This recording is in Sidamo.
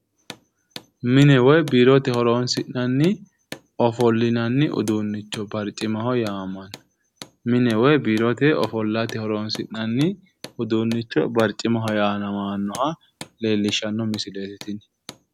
Mine woyi biirote horonsi'nanni ofollinanni uduunnicho barcimaho yaamammanno. Mine woyi biirote ofollate horonsi'nanni barcimaho uduunnicho yaamamanno uduunnicho leellishshanno misieeti tini.